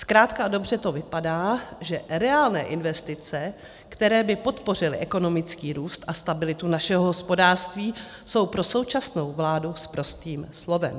Zkrátka a dobře to vypadá, že reálné investice, které by podpořily ekonomický růst a stabilitu našeho hospodářství, jsou pro současnou vládu sprostým slovem.